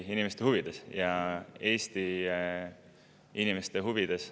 Me teeme seda Eesti inimeste huvides.